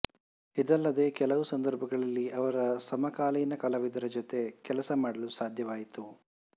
ಇದಲ್ಲದೆ ಕೆಲವು ಸಂದರ್ಭಗಳಲ್ಲಿ ಅವರ ಸಮಕಾಲಿನ ಕಲಾವಿದರ ಜೊತೆ ಕೆಲಸ ಮಾಡಲು ಸಾಧ್ಯವಾಯಿತು